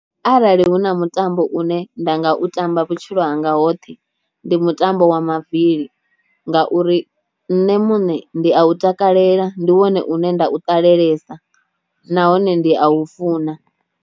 Arali hu na mutambo une nda nga u tamba vhutshilo hanga hoṱhe ndi mutambo wa mavili nga uri nṋe muṋe ndi a u takalela ndi wone une nda u ṱalelesa nahone ndi a u funa.